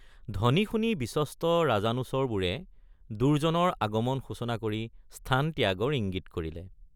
ধ্বনি শুনি বিশ্বস্ত ৰাজানুচৰবোৰে দুৰ্জনৰ আগমন সূচনা কৰি স্থান ত্যাগৰ ইঙ্গিত কৰিলে।